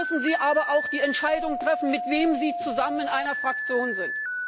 Dann müssen Sie aber auch die Entscheidung treffen, mit wem Sie zusammen in einer Fraktion sind.